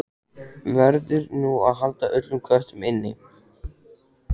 Verður nú að halda öllum köttum inni?